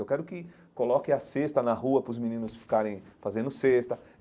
Eu quero que coloque a cesta na rua para os meninos ficarem fazendo cesta.